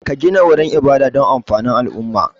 Ka gina wurin ibada don amfanin al'umma